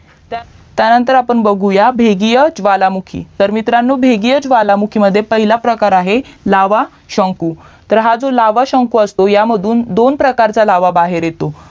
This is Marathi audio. त्यानंतर आपण बघूयात भेगीय ज्वालामुखी मित्रांनो भेगिय ज्वालामुखी मध्ये पहिलं प्रकार आहे लावा शंकू तर हा जो लावा शंकू असतो त्यामधून दोन प्रकार च्या लावा बाहेर येतो